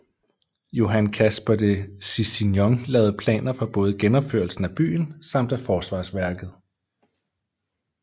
Johan Caspar de Cicignon lavede planer for både genopførelsen af byen samt af forsvarsværket